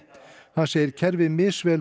hann segir kerfið misvel